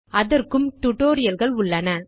அதற்கும் டியூட்டோரியல் கள் உள்ளன